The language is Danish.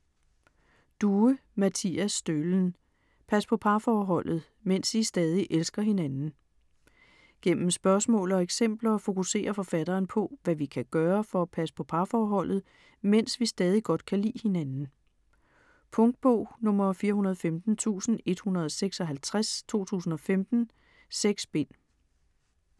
Due, Mattias Stølen: Pas på parforholdet: mens I stadig elsker hinanden Gennem spørgsmål og eksempler fokuserer forfatteren på, hvad vi kan gøre for at passe på parforholdet, mens vi stadig godt kan lide hinanden. Punktbog 415156 2015. 6 bind.